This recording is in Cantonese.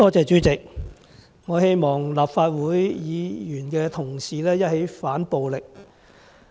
主席，我希望立法會的議員同事一起反暴力。